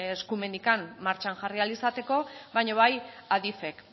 eskumenik martxan jarri ahal izateko baina bai adif ek